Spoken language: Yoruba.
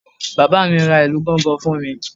Bàbá mi ra ìlù gangan fún mi